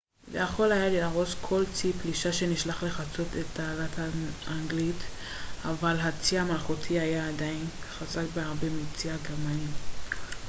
"אבל הצי המלכותי היה עדיין חזק בהרבה מהצי הגרמני "kriegsmarine" ויכול היה להרוס כל צי פלישה שנשלח לחצות את התעלה האנגלית.